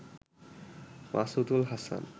Masudul Hasan